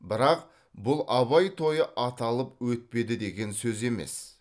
бірақ бұл абай тойы аталып өтпеді деген сөз емес